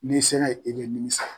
N'i sera ye e bɛ nimisa.